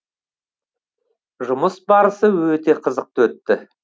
жұмыс барысы өте қызықты өтті